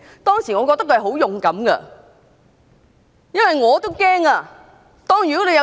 當時我覺得他十分勇敢，因為我也感到害怕。